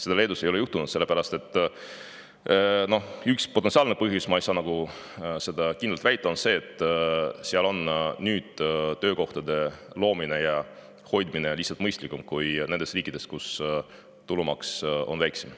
Seda Leedus ei ole juhtunud ja üks potentsiaalne põhjus – ma ei saa seda kindlalt väita – on see, et seal on töökohti luua ja hoida lihtsalt mõistlikum kui nendes riikides, kus tulumaks on väiksem.